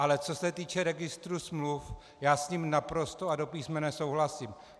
Ale co se týče registru smluv, já s ním naprosto a do písmene souhlasím.